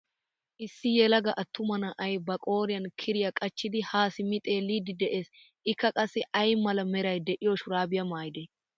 Issi yelaga attuma na'ay ba qooriyan kiroya qachchidi ha simmi xeellidi de'ees. Ika qassi aynba mala meray de'iyo shurabiya maayide?